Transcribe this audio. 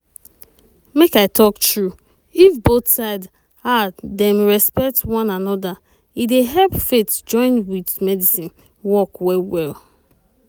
make i talk true if both side ah dem respect one anoda e dey help faith join with medicine work well well.